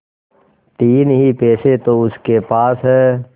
तीन ही पैसे तो उसके पास हैं